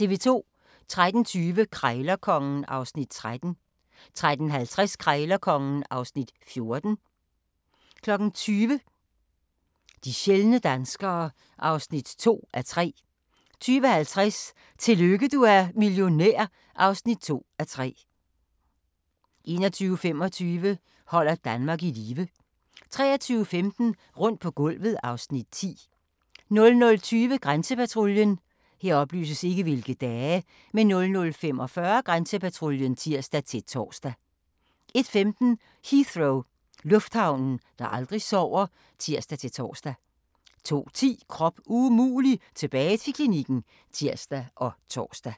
13:20: Krejlerkongen (Afs. 13) 13:50: Krejlerkongen (Afs. 14) 20:00: De sjældne danskere (2:3) 20:50: Tillykke du er millionær (2:3) 21:25: Holder Danmark i live 23:15: Rundt på gulvet (Afs. 10) 00:20: Grænsepatruljen 00:45: Grænsepatruljen (tir-tor) 01:15: Heathrow - lufthavnen, der aldrig sover (tir-tor) 02:10: Krop umulig - tilbage til klinikken (tir og tor)